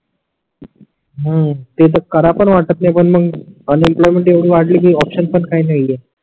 हम्म ते तर कराव पण वाटत नाही पण मग अन इम्प्लॉयमेंट येवडे वाटले की ऑप्शन पण काही नाही आहे